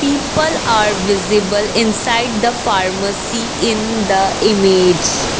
people are visible inside the pharmacy in the image.